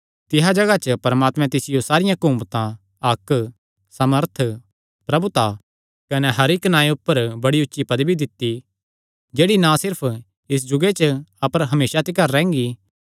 तिसा जगाह च परमात्मे तिसियो सारियां हकुमता हक्क सामर्थ प्रभुता कने हर इक्की नांऐ ऊपर बड़ी ऊची पदवी दित्ती जेह्ड़ी ना सिर्फ इस जुगे च अपर हमेसा तिकर रैंह्गी